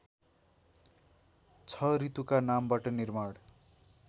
६ ऋतुका नामबाट निर्माण